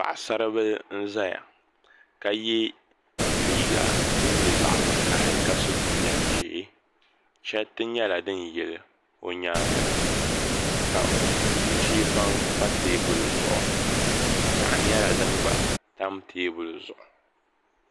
Paɣasari bili n ʒɛya ka yɛ liiga din nyɛ zaɣ vakaɣali ka so jinjɛm ʒiɛ chɛriti nyɛla din yili o nyaanga ka nu chɛ baŋ pa teebuli zuɣu piɛɣu nyɛla din gba tam teebuli zuɣu